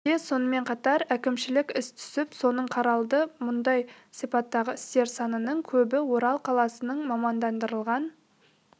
өңірде сонымен қатар әкімшілік іс түсіп соның қаралды мұндай сипаттағы істер санының көбі орал қаласының мамандандырылған